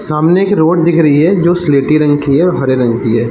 सामने की रोड दिख रही है जो स्लेटी रंग की है और हरे रंग की है।